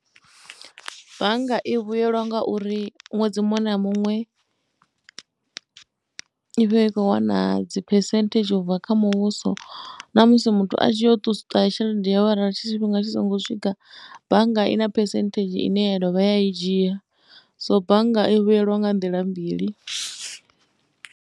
Bannga i vhuyelwa nga uri ṅwedzi muṅwe na muṅwe i vha i khou wana dzi phesenthedzhi u bva kha muvhuso. Na musi muthu a tshi yo ṱusa tshelede yawe arali tshifhinga tshi songo swika bannga i na phesenthedzhi ine ya dovha ya i dzhia. So bannga i vhuyelwa nga nḓila mbili.